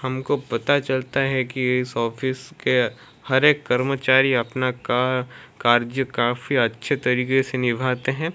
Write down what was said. हमको पता चलता है कि इस ऑफिस के हर एक कर्मचारी अपना का कार्ज काफी के तरीके से निभाते हैं।